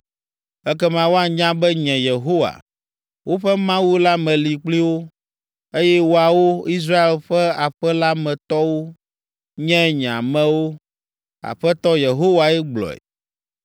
Ekema woanya be nye, Yehowa, woƒe Mawu la meli kpli wo, eye woawo, Israel ƒe aƒe la me tɔwo, nye nye amewo. Aƒetɔ Yehowae gblɔe.